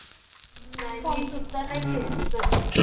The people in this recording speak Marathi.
नाई मी सुद्धा नाई खेळली कधी.